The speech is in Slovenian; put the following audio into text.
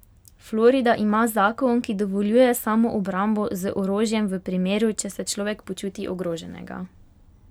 Florida ima zakon, ki dovoljuje samoobrambo z orožjem v primeru, če se človek počuti ogroženega.